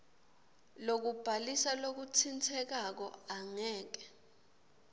lokubhalisa lokutsintsekako angeke